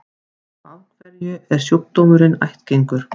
Og af hverju er sjúkdómurinn ættgengur?